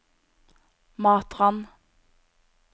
Matrand